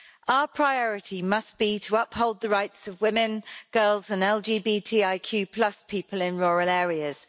Our priority must be to uphold the rights of women, girls and LGBTIQ people in rural areas.